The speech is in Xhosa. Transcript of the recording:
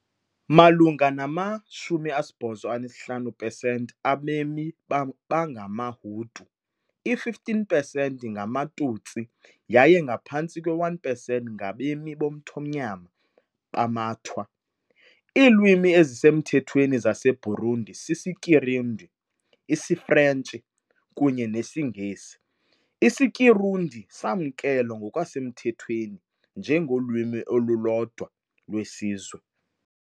Malunga nama-85 pesenti abemi bangamaHutu, i-15 pesenti ngamaTutsi, yaye ngaphantsi kwe-1 pesenti ngabemi bomthonyama bamaTwa . Iilwimi ezisemthethweni zaseBurundi sisiKirundi, isiFrentshi, kunye nesiNgesi, isiKirundi samkelwa ngokusemthethweni njengolwimi olulodwa lwesizwe.